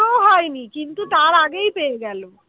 pass ও হয়নি কিন্তু তার আগেই পেয়ে গেল